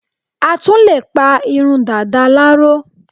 a tún lè pa irun Dàda láró